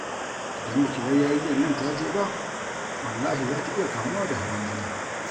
idan baki bar yarinyar nan ta je ba wallahi za ta iya kamuwa da hawan jini